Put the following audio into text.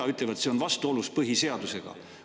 Nad ütlevad, et see on vastuolus põhiseadusega.